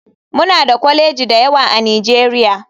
Muna da kwalejoji da yawa a nigeria.